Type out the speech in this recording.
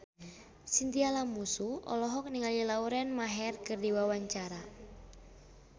Chintya Lamusu olohok ningali Lauren Maher keur diwawancara